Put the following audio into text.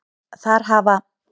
Þar hafa